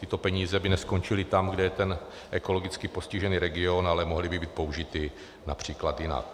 Tyto peníze by neskončily tam, kde je ten ekologicky postižený region, ale mohly by být použity například jinak.